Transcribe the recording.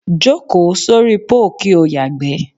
Jókòó sóri póò kí ó yàgbé̩.